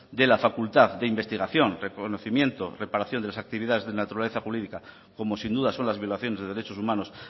de la facultad de investigación reconocimiento reparación de las actividades de naturales jurídica como sin duda son las violaciones de derechos humanos